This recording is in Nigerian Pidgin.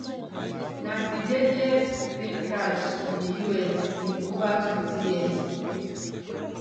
na di deadliest plane crash in di us in ovatwentyyears